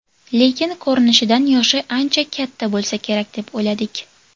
Lekin ko‘rinishidan yoshi ancha katta bo‘lsa kerak deb o‘yladik.